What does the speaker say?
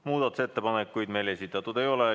Muudatusettepanekuid esitatud ei ole.